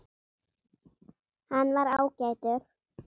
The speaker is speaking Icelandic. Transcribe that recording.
Hann var ágætur